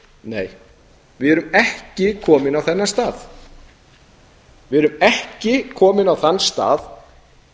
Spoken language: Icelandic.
við erum ekki komin á þennan stað við erum ekki komin á þann stað